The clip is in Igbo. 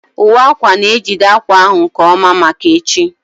Uwe akwa na-ejide akwa ahụ nke ọma maka echi